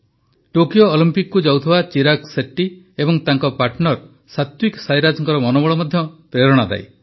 Tokyo ଅଲମ୍ପିକକୁ ଯାଉଥିବା ଚିରାଗ ଶେଟ୍ଟି ଏବଂ ତାଙ୍କ ପାର୍ଟନର ସାତ୍ୱିକ ସାଇରାଜଙ୍କ ମନୋବଳ ମଧ୍ୟ ପ୍ରେରଣାଦାୟୀ